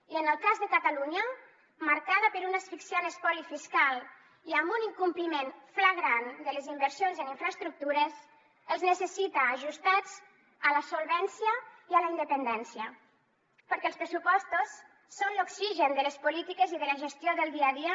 i en el cas de catalunya marcada per un asfixiant espoli fiscal i amb un incompliment flagrant de les inversions en infraestructures els necessita ajustats a la solvència i a la independència perquè els pressupostos són l’oxigen de les polítiques i de la gestió del dia a dia